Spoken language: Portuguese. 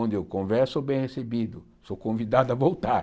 onde eu converso, eu sou bem recebido, sou convidado a voltar.